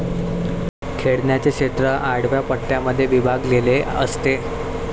खेळण्याचे क्षेत्र आडव्या पट्ट्यांमध्ये विभागलेले असते.